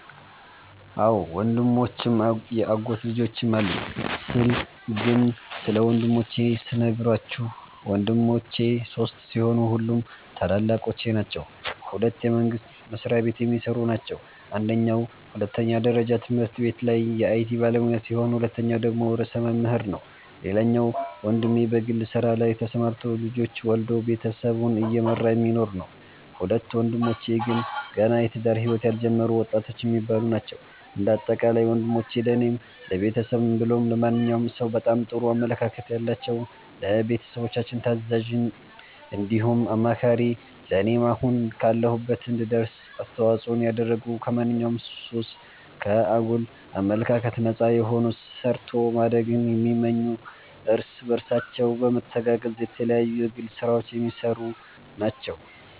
አዎ ወንድሞችም ያጎት ልጆችም አሉኝ ስለ ግን ስለ ወንድሞቼ ስነግራችሁ ወንድሞቼ ሶስት ሲሆኑ ሁሉም ታላላቆቼ ናቸዉ ሁለቱ የመንግስት መስሪያቤት የሚሰሩ ናቸው አንደኛዉ ሁለተኛ ደረጃ ትምህርት ቤት ላይ የአይቲ ባለሙያ ሲሆን ሁለተኛዉ ደግሞ ርዕሰ መምህር ነዉ ሌላኛዉ ወንድሜ በግል ስራ ላይ ተሰማርቶ ልጆች ወልዶ ቤተሰቡን እየመራ የሚኖር ነዉ። ሁለቱ ወንድሞቼ ግን ገና የትዳር ህይወት ያልጀመሩ ወጣቶች የሚባሉ ናቸዉ። እንደ አጠቃላይ ወንሞቼ ለኔም ለቤተሰብም ብሎም ለማንኛዉም ሰዉ በጣም ጥሩ አመለካከት ያላቸዉ፣ ለቤተሰቦቻችን ታዛዥ እንዲሁም አማካሪ ለኔም አሁን ካለሁበት እንድደርስ አስተዋፅኦን ያደረጉ ከማንኛዉም ሱስ፣ ከአጉል አመለካከት ነፃ የሆኑ ሰርቶ ማደግን የሚመኙ እርስ በርሳቸው በመተጋገዝ የተለያዩ የግል ስራዎች የሚሰሩ ናቸዉ።